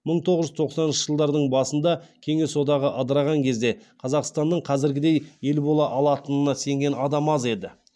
мың тоғыз жүз тоқсаныншы жылдардың басында кеңес одағы ыдыраған кезде қазақстанның қазіргідей ел бола алатынына сенген адам аз еді